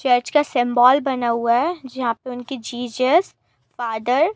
church का symbol बना हुआ है जहां पर उनकी जीसस फादर --